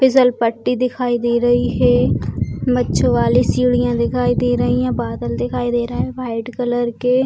फिसल पट्टी दिखाई दे रही है मच्छ वाली सीढ़ियां दिखाई दे रही हैं बादल दिखाई दे रहा है व्हाइट कलर के।